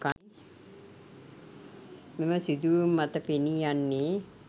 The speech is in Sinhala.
මෙම සිදුවීම් මත පෙනී යන්නේ